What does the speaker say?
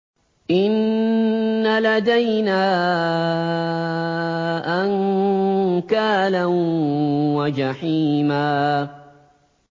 إِنَّ لَدَيْنَا أَنكَالًا وَجَحِيمًا